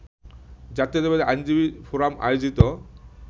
জাতীয়তাবাদী আইনজীবী ফোরাম আয়োজিত